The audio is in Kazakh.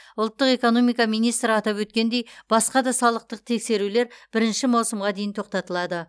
ұлттық экономика министрі атап өткендей басқа да салықтық тексерулер бірінші маусымға дейін тоқтатылды